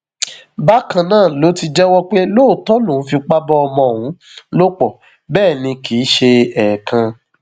bákan náà ló ti jẹwọ pé lóòótọ lòun fipá bá ọmọ ọhún lò pọ bẹẹ ni kì í ṣe ẹẹkan